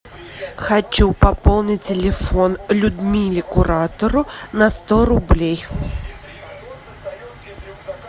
хочу пополнить телефон людмиле куратору на сто рублей